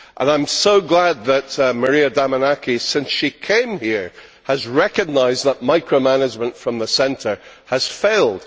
I am so glad that Maria Damanaki, since she came here, has recognised that micro management from the centre has failed.